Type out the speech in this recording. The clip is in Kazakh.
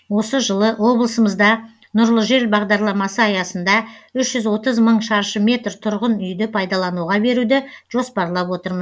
осы жылы облысымызда нұрлы жер бағдарламасы аясында үш жүз мың шаршы метр тұрғын үйді пайдалануға беруді жоспарлап отыр